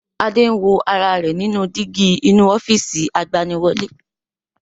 Adé ń wo ara rẹ̀ nínú dígí inú ofiisi agbaniwọlẹ́